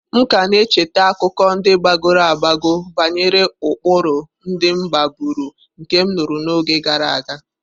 M ka na-echeta akụkọ ndị gbagoro agbago banyere ụkpụrụ ndị m maburu nke m nụrụ n'oge gara aga.